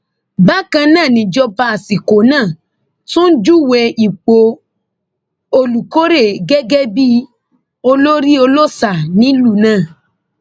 bákan náà nìjọba àsìkò náà tún júwe ipò olùkórè gẹgẹ bíi olórí olóòṣà nílùú náà